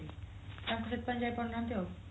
ସେଥିପାଇଁ ଯାଇପାରୁନାହାନ୍ତି ଆଉ